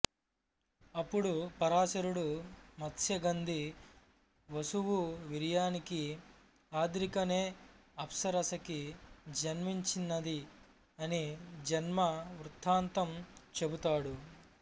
అప్పుడు పరాశరుడు మత్స్యగంధి వసువు వీర్యానికి అద్రిక నే అప్సరసకి జన్మించినది అనిజన్మ వృత్తాంతం చెబుతాడు